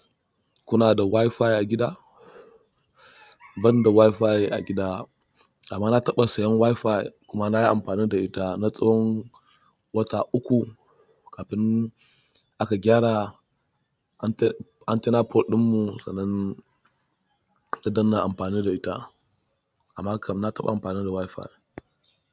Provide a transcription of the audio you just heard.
Kuna da WiFi a gida? Ban da WiFi a gida amma na taɓa sayan WiFi kuma nayi amfani da ita na tsawon wata uku abun da aka gyara, antenna port ɗin mu sannan aka daina amfani da ita. Amma kamar na taɓa amfani da WiFi.